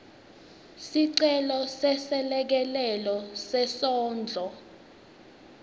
sicelo seselekelelo sesendlo